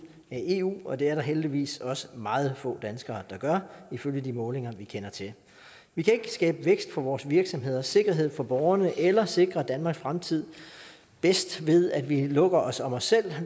af eu og det er der heldigvis også meget få danskere der gør ifølge de målinger vi kender til vi kan ikke skabe vækst for vores virksomheder og sikkerhed for borgerne eller sikre danmarks fremtid bedst ved at vi lukker os om os selv